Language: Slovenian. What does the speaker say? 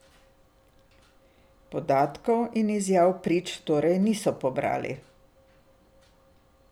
Podatkov in izjav prič torej niso pobrali.